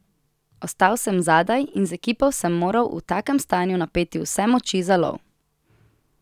Ostal sem zadaj in z ekipo sem moral v takem stanju napeti vse moči za lov.